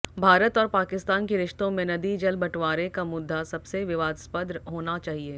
भारत और पाकिस्तान के रिश्तों में नदी जल बंटवारे का मुद्दा सबसे विवादास्पद होना चाहिए